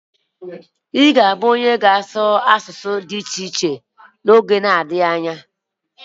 Ị ga-abụ onye na-ssụ ọtụtụ asụsụ n'oge nadghi anya.